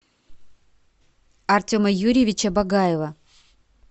артема юрьевича багаева